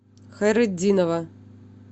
хайретдинова